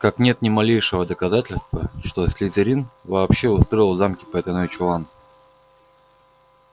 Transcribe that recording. как нет ни малейшего доказательства что слизерин вообще устроил в замке потайной чулан